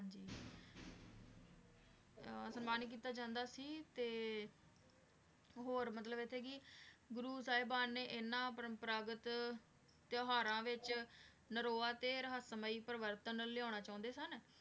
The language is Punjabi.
ਹਾਂ ਸਮਾਨਿਤ ਕੀਤਾ ਜਾਂਦਾ ਸੀ ਤੇ ਹੋਰ ਮਤਲਬ ਏਥੇ ਕੀ ਗੁਰੂ ਸਾਹਿਬਾਨ ਨੇ ਇਨਾਂ ਪਰੰਪਰਾਗਤ ਤੇਉਹਾਰਾਂ ਵਿਚ ਨਾਰੋਵਾ ਤੇ ਰੇਹਾਸ੍ਮੈ ਪ੍ਰੇਵਾਰਤਾਂ ਲਿਆਣਾ ਚੰਦੇ ਸਨ